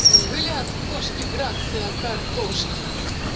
взгляд кошки грация картошки